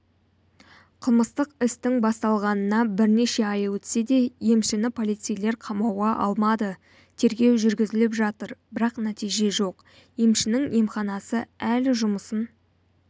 қылмыстық істің басталғанына бірнеше ай өтсе де емшіні полицейлер қамауға алмады тергеу жүргізіліп жатыр бірақ нәтиже жоқ емшінің емханасы әлі жұмысын